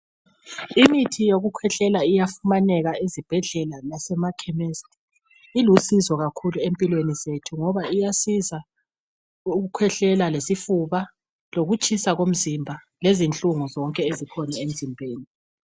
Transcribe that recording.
Imithi yokukhwehlela iyafumaneka ezibhedlela lasemakhemisi. Ilusizo kakhulu empilweni zethu ngoba iyasiza ukukhwehlela lesifuba lokutshisa komzimba lezihlungu zonke ezikhona emzimbeni